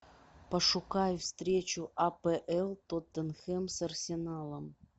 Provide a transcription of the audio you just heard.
пошукай встречу апл тоттенхэм с арсеналом